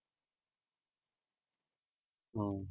ਹਾਂ।